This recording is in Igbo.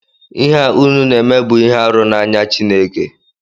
Ihe a unu na-eme bụ ihe arụ n’anya Chineke